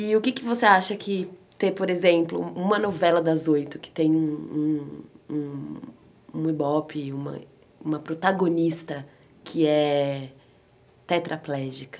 E o que é que você acha que ter, por exemplo, uma novela das oito que tem um um um ibope, uma protagonista que é tetraplégica?